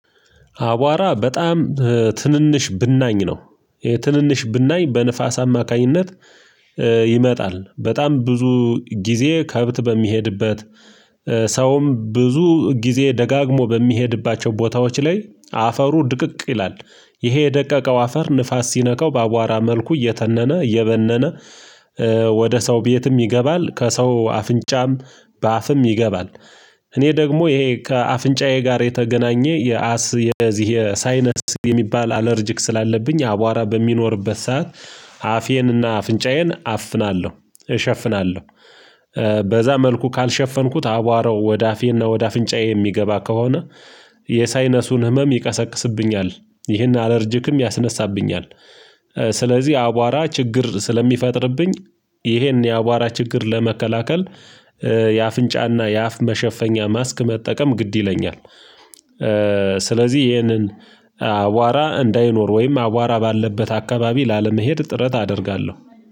አቧራ በጣም ትንንሽ ብናኝ ነው። ትንንሽ ብናኝ በንፋስ አማካኝነት ይመጣል በጣም ብዙ ጊዜ ከብት በሚሄድበት ሰውም ብዙ ጊዜ ደጋግሞ በሚሄድባቸው ቦታዎች ላይ አፈሩ ድቅቅ ይላል። ይሄ የደቀቀው አፈር ንፋስ ሲነቀው በአቧራ መልኩ እየተነነ እየበነነ ወደ ሰው ቤትም ይገባል ከሰው አፍንጫም በአፍም ይገባል። እኔ ደግሞ ይሄ ከአፍንጫዬ ጋር የተገናኘ የአስም የዚህ የሳይነስ የሚባል አለርጅክ ስላለብኝ የአቧራ በሚኖርበት ሰዓት አፌንና አፍንጫዬን አፍናለሁ እሸፍናለሁ። በዛ መልኩ ካልሸፈንኩት አቧራው ወደ አፌና ወደ አፍንጫዬ የሚገባ ከሆነ የሳይነሱን ህመም ይቀሰቅስብኛል ይህን አለርጅክም ያስነሳብኛል። ስለዚህ አቧራ ችግር ስለሚፈጥርብኝ ይሄን የአቧራ ችግር ለመከላከል የአፍንጫና የአፍ መሸፈኛ ማስክ መጠቀም ግድ ይለኛል። ስለዚህ ይህንን አዋራ እንዳይኖር ወይም አዋራ ባለበት አካባቢ ላለመሄድ ጥረት አደርጋለሁ